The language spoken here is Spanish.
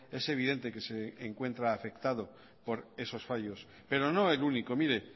es evidente que se encuentra afectado por esos fallos pero no el único mire